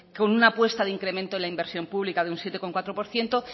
con una apuesta de incremento en la inversión pública de un siete coma cuatro por ciento